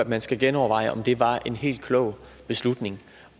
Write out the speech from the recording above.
man skal genoverveje om det var en helt klog beslutning